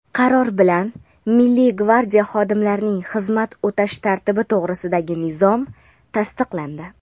Qaror bilan Milliy gvardiya xodimlarining xizmat o‘tash tartibi to‘g‘risidagi nizom tasdiqlandi.